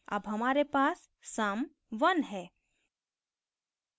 अब हमारे पास sum 1 है